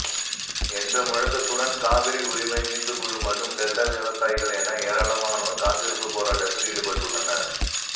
என்ற முழக்கத்துடன் காவிரி உரிமை மீட்புக்குழு மற்றும் டெல்டா விவசாயிகள் என ஏராளமானோா் காத்திருப்பு போராட்டத்தில் ஈடுபட்டுள்ளனர்